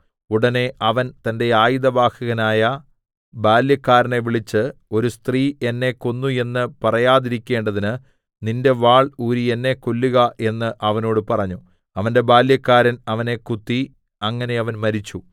ഉടനെ അവൻ തന്റെ ആയുധവാഹകനായ ബാല്യക്കാരനെ വിളിച്ച് ഒരു സ്ത്രീ എന്നെ കൊന്നു എന്ന് പറയാതിരിക്കേണ്ടതിന് നിന്റെ വാൾ ഊരി എന്നെ കൊല്ലുക എന്ന് അവനോട് പറഞ്ഞു അവന്റെ ബാല്യക്കാരൻ അവനെ കുത്തി അങ്ങനെ അവൻ മരിച്ചു